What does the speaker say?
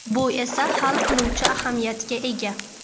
Bu esa hal qiluvchi ahamiyatga ega.